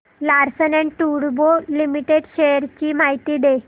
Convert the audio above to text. Larsen and टुर्बो limited shares ची माहिती दे